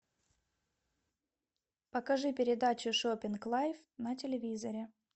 покажи передачу шоппинг лайф на телевизоре